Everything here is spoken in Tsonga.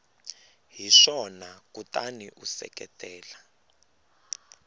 hi swona kutani u seketela